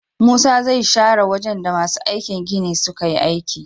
Musa zai share wajan da masu aikin gini suka yi aiki